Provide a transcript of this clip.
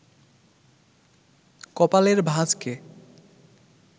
কপালের ভাঁজকে